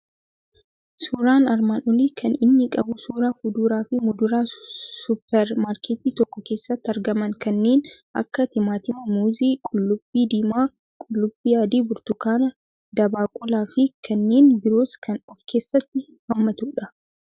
Suuraan armaan olii kan inni qabu suuraa fuduraa fi muduraa suuper maarketii tokko keessatti argaman, kanneen akka timaatimii, muuzii, qullubbii diimaa, qullubbii adii, burtukaanaa, dabaaqulaa fi kanneen biroos kan of keessatti haammatudha.